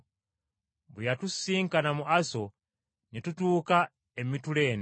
Bwe yatusisinkana mu Aso, ne tutuuka e Mituleene.